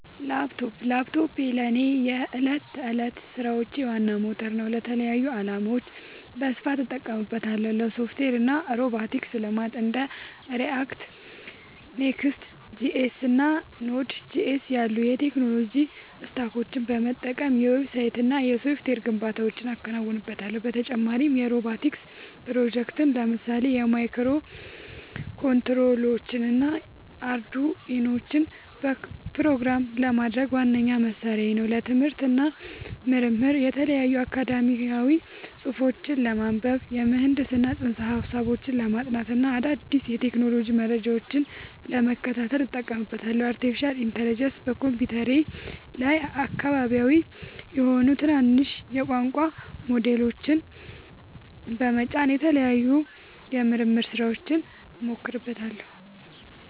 ላፕቶፕ ላፕቶፔ ለእኔ የዕለት ተዕለት ሥራዎቼ ዋና ሞተር ነው። ለተለያዩ ዓላማዎች በስፋት እጠቀምበታለሁ - ለሶፍትዌር እና ሮቦቲክስ ልማት እንደ React፣ Next.js እና Node.js ያሉ የቴክኖሎጂ ስታኮችን በመጠቀም የዌብሳይትና የሶፍትዌር ግንባታዎችን አከናውንበታለሁ። በተጨማሪም የሮቦቲክስ ፕሮጀክቶችን (ለምሳሌ ማይክሮኮንትሮለሮችንና አርዱኢኖን) ፕሮግራም ለማድረግ ዋነኛ መሣሪያዬ ነው። ለትምህርት እና ምርምር የተለያዩ አካዳሚያዊ ጽሑፎችን ለማንበብ፣ የምህንድስና ፅንሰ-ሀሳቦችን ለማጥናት እና አዳዲስ የቴክኖሎጂ መረጃዎችን ለመከታተል እጠቀምበታለሁ። ለአርቲፊሻል ኢንተለጀንስ (AI) በኮምፒውተሬ ላይ አካባቢያዊ (local) የሆኑ ትናንሽ የቋንቋ ሞዴሎችን (LLMs) በመጫን ለተለያዩ የምርምር ሥራዎች እሞክራቸዋለሁ።